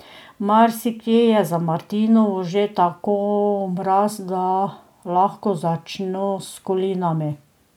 Marsikje je za martinovo že tako mraz, da lahko začno s kolinami.